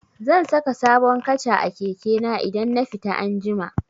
Zan saka sabon kaca a keke na idan na fita anjima.